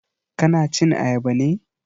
Ka na cin Ayaba ne?